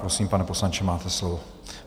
Prosím, pane poslanče, máte slovo.